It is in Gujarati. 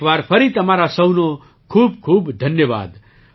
એક વાર ફરી તમારા સહુનો ખૂબખૂબ ધન્યવાદ